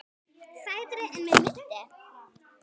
Sætari en mig minnti.